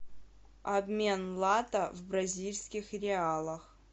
обмен лата в бразильских реалах